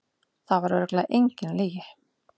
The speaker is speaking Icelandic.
Það var örugglega engin lygi.